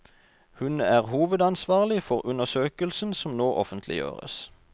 Hun er hovedansvarlig for undersøkelsen som nå offentliggjøres.